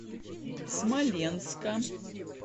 смоленска